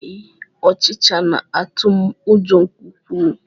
Ee, ọchịcha na-atụ m ụjọ nke ukwuu